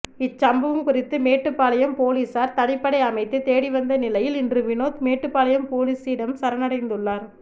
இச்சம்பவம் குறித்து மேட்டுப்பாளையம் போலீசார் தனிப்படை அமைத்து தேடிவந்த நிலையில் இன்று வினோத் மேட்டுப்பாளையம் போலீசிடம் சரணடைந்துள்ளார்